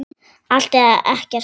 Allt eða ekkert.